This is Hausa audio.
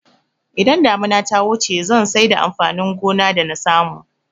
Idan damuna ta wuce zan saida amfanin gona da nasamu